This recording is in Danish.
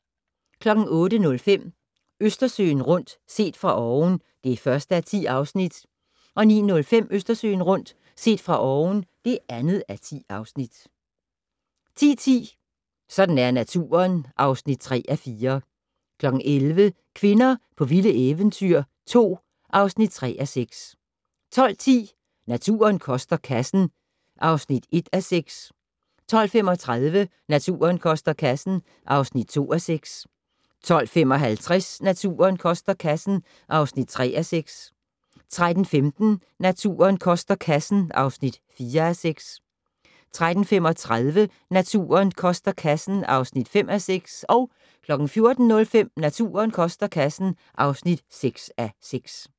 08:05: Østersøen rundt - set fra oven (1:10) 09:05: Østersøen rundt - set fra oven (2:10) 10:10: Sådan er naturen (3:4) 11:00: Kvinder på vilde eventyr 2 (3:6) 12:10: Naturen koster kassen (1:6) 12:35: Naturen koster kassen (2:6) 12:55: Naturen koster kassen (3:6) 13:15: Naturen koster kassen (4:6) 13:35: Naturen koster kassen (5:6) 14:05: Naturen koster kassen (6:6)